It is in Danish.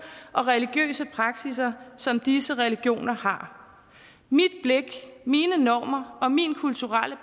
og religiøse praksisser som disse religioner har mit blik mine normer og min kulturelle